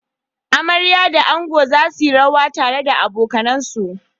Amarya da ango za su yi rawa tare da abokansu.